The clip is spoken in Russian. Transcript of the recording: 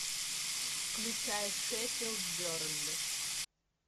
включай шеффилд бернли